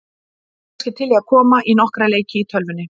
Ertu kannski til í að koma í nokkra leiki í tölvunni?